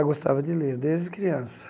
Já gostava de ler, desde criança.